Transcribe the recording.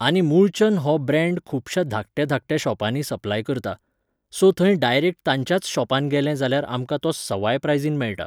आनी मुळचंद हो ब्रेंड खुबशा धाकट्या धाकट्या शॉपानी सप्लाय करता, सो थंय डायरेक्ट तांच्याच शॉपांत गेलें जाल्यार आमकां तो सवाय प्रायझीन मेळटा